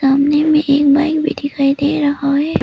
सामने में एक बाइक भी दिखाई दे रहा है।